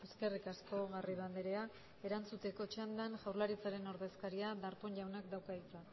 eskerrik asko garrido andrea erantzuteko txandan jaurlaritzaren ordezkariak darpón jaunak dauka hitza